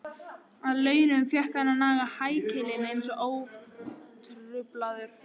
Að launum fékk hann að naga hækilinn einn og ótruflaður.